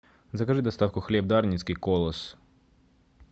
закажи доставку хлеб дарницкий колос